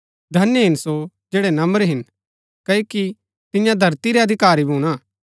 धन्य हिन सो जैड़ै नम्र हिन क्ओकि तियां धरती रै अधिकारी भूणा